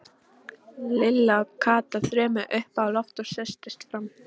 Lilla og Kata þrömmuðu upp á loft og settust fremst.